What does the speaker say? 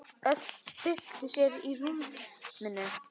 Örn bylti sér í rúminu.